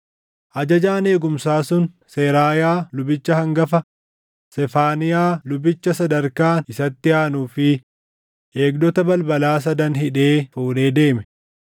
Ajajaan eegumsaa sun Seraayaa lubicha hangafa, Sefaaniyaa lubicha Sadarkaan isatti aanuu fi eegdota balbalaa sadan hidhee fuudhee deeme.